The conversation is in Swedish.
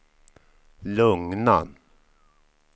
lugna